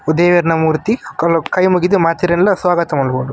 ದೇವೆರ್ನ ಮೂರ್ತಿ ಕೈ ಮುಗಿದ್ ಮಾತೆರೆನ್ಲ ಸ್ವಾಗತ ಮನ್ಪೊಡು.